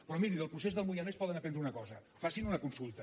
però miri del procés del moianès poden aprendre una cosa facin una consulta